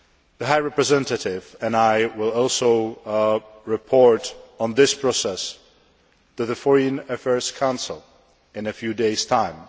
The High Representative and I will also report on this process to the Foreign Affairs Council in a few days' time.